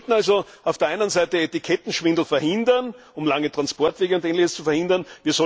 Wir sollten also auf der einen Seite Etikettenschwindel verhindern, um lange Transportwege und Ähnliches zu verhindern.